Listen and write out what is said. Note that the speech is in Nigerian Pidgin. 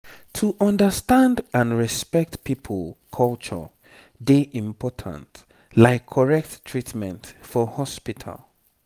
to understand and respect people culture dey important like correct treatment for hospital